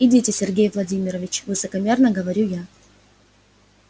идите сергей владимирович высокомерно говорю я